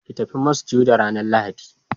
ki tafi masujada ranan lahadi